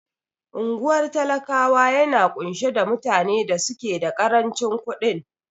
Unguwar talakawa yana ƙunshe da mutane da suke da karancin ƙudin